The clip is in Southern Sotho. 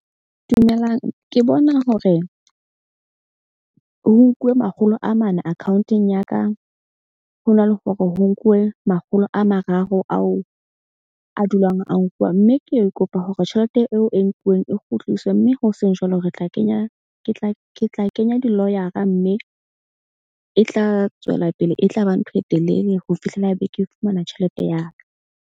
Dumelang ke bona hore ho nkuwe makgolo a mane account-ong ya ka, ho na le hore ho nkuwe makgolo a mararo ao a dulang a nkuwa. Mme ke ke kopa hore tjhelete eo e nkuweng e kgutliswe. Mme ho seng jwalo re tla kenya ke tla kenya di-lawyer-a mme e tla tswela pele. E tlaba ntho e telele ho fihlela be ke fumana tjhelete ya ka.